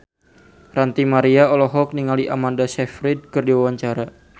Ranty Maria olohok ningali Amanda Sayfried keur diwawancara